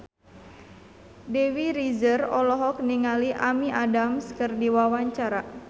Dewi Rezer olohok ningali Amy Adams keur diwawancara